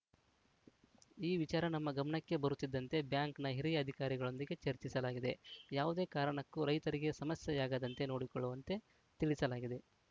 ಈ ವಿಚಾರ ನಮ್ಮ ಗಮನಕ್ಕೆ ಬರುತ್ತಿದ್ದಂತೆ ಬ್ಯಾಂಕ್‌ನ ಹಿರಿಯ ಅಧಿಕಾರಿಗಳೊಂದಿಗೆ ಚರ್ಚಿಸಲಾಗಿದೆ ಯಾವುದೇ ಕಾರಣಕ್ಕೂ ರೈತರಿಗೆ ಸಮಸ್ಯೆಯಾಗದಂತೆ ನೋಡಿಕೊಳ್ಳುವಂತೆ ತಿಳಿಸಲಾಗಿದೆ